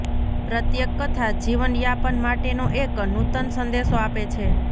પ્રત્યેક કથા જીવનયાપન માટેનો એક નૂતન સંદેશો આપે છે